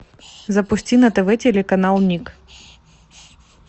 запусти на тв телеканал миг